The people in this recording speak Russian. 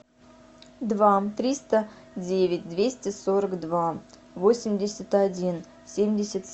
два триста девять двести сорок два восемьдесят один семьдесят